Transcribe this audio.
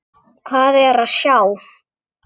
Hvað er að sjá